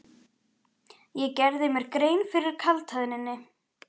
Ég gerði mér grein fyrir kaldhæðninni.